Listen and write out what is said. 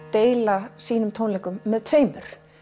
deila sínum tónleikum með tveimur